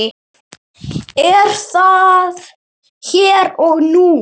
Er það hér og nú?